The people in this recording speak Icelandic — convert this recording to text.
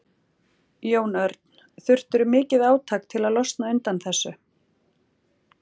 Jón Örn: Þurftirðu mikið átak til að losna undan þessu?